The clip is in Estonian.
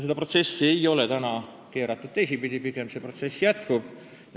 Seda protsessi ei ole keeratud teistpidi, pigem see protsess jätkub.